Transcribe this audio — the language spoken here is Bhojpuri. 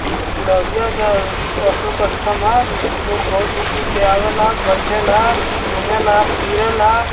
ई लोरिया के अशोक स्तम्भ है। लोग बहुत दूर-दूर के आवेला बैठेला घुमेला-फिरैला।